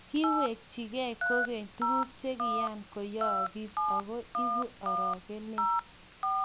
kiwekchigei kukeny tuguk che kiakuyaagis, aku ibu orokonet